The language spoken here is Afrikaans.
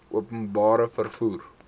openbare vervoer mark